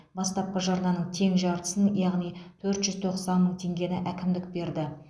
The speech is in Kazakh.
бастапқы жарнаның тең жартысып яғни төрт жүз тоқсан мың теңгені әкімдік берді